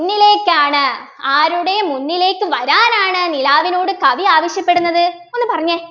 മുന്നിലേക്കാണ് ആരുടെ മുന്നിലേക്ക് വരാനാണ് നിലാവിനോട് കവി ആവശ്യപ്പെടുന്നത് ഒന്നു പറഞ്ഞെ